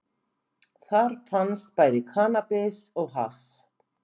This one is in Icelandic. Þar fannst bæði kannabis og hass